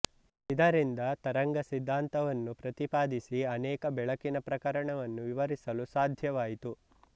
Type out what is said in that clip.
ಇದರಿಂದ ತರಂಗಸಿದ್ಧಾಂತವನ್ನು ಪ್ರತಿಪಾದಿಸಿ ಅನೇಕ ಬೆಳಕಿನ ಪ್ರಕರಣವನ್ನು ವಿವರಿಸಲು ಸಾಧ್ಯವಾಯಿತು